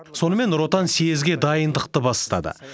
сонымен нұр отан съезге дайындықты бастады